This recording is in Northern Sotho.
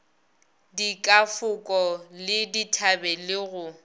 dikafoko le dithabe le go